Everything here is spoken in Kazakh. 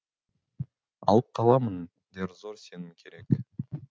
алып қаламын дер зор сенім керек